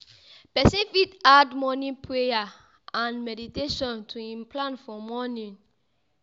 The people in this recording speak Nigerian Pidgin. Person fit add morning prayer and meditation to im plan for morning